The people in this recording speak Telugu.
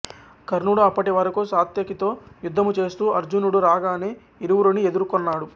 కర్ణుడు అప్పటి వరకు సాత్యకితో యుద్ధము చేస్తూ అర్జునుడు రాగానే ఇరువురిని ఎదుర్కొన్నాడు